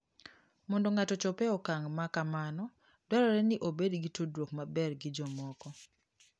Mondo ng'ato ochop e okang' ma kamano, dwarore ni obed gi tudruok maber gi jomoko.